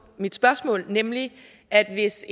mit spørgsmål nemlig at hvis